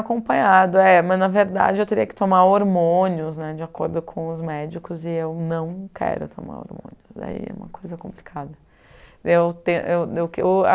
acompanhado, mas na verdade eu teria que tomar hormônios né de acordo com os médicos e eu não quero tomar hormônios, aí é uma coisa complicada. Eu tenho eu eu eu